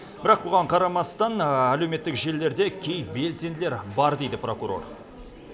бірақ бұған қарамастан әлеуметтік желілерде кей белсенділер бар дейді прокурор